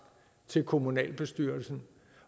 til kommunalbestyrelsen